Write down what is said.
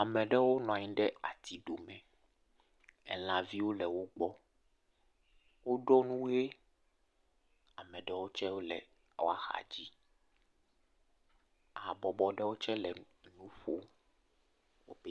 Ameɖewo nɔanyi ɖe ati ɖome, elã viwo le wo gbɔ, wo ɖo nu ɣee, ameɖewo tsewo le woa xa dzi, habɔbɔ ɖewo tse le enu ƒo, o pe.